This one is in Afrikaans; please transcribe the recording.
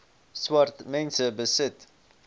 swart mense besit